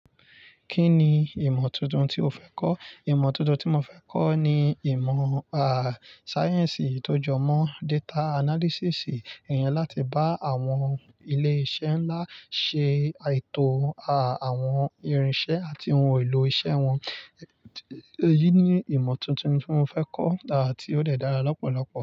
Kí ni ìmọ̀ tuntun tí o fẹ́ kọ́? Ìmọ̀ tuntun tí mo fẹ́ kọ́ ni ìmọ̀, à, sáyẹ́ǹsì tó jọ mọ́ data analysis, iyẹn láti bá àwọn ilé-iṣẹ́ ńlá ṣe àìtò, a, àwọn irinṣẹ́ àti ohun èlò iṣẹ́ wọn. Èyí ni ìmọ̀ tuntun tí mo fẹ́ kọ́, àti ó dẹ̀ dára lọ́pọ̀lọ́pọ̀.